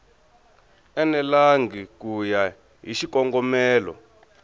enelangi ku ya hi xikongomelo